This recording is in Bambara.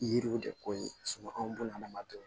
Yiriw de ko ye anw b'o lamadu